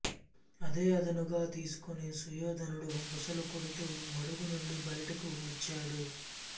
అదే అదనుగా తీసుకొని సుయోధనుడు బుసలు కొడుతూ మడుగు నుండి బయటకు వచ్చాడు